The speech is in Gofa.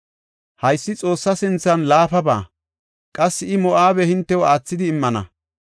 Haysi Xoossa sinthan laafaba; qassi I Moo7abe hintew aathidi immana.